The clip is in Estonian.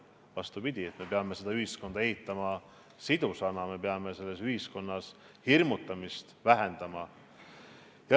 Vastupidi, me peame ühiskonda ehitama sidusana, me peame hirmutamist vähendama.